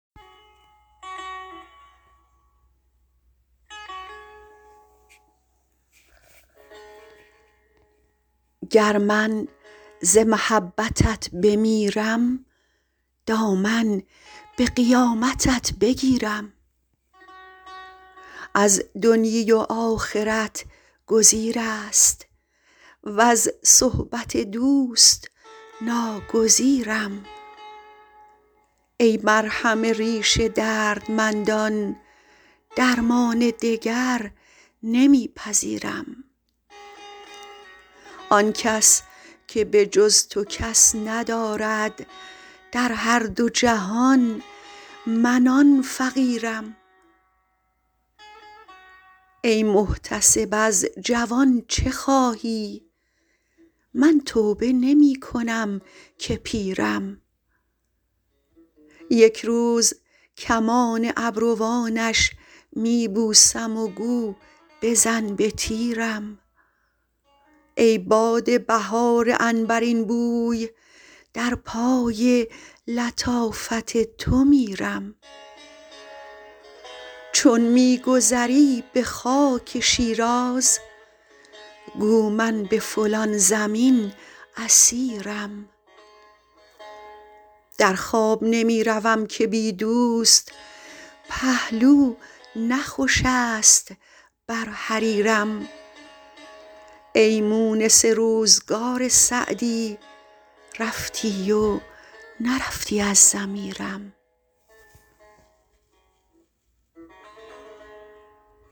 گر من ز محبتت بمیرم دامن به قیامتت بگیرم از دنیی و آخرت گزیر است وز صحبت دوست ناگزیرم ای مرهم ریش دردمندان درمان دگر نمی پذیرم آن کس که به جز تو کس ندارد در هر دو جهان من آن فقیرم ای محتسب از جوان چه خواهی من توبه نمی کنم که پیرم یک روز کمان ابروانش می بوسم و گو بزن به تیرم ای باد بهار عنبرین بوی در پای لطافت تو میرم چون می گذری به خاک شیراز گو من به فلان زمین اسیرم در خواب نمی روم که بی دوست پهلو نه خوش است بر حریرم ای مونس روزگار سعدی رفتی و نرفتی از ضمیرم